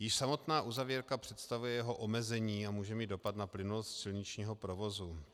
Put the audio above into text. Již samotná uzavírka představuje jeho omezení a může mít dopad na plynulost silničního provozu.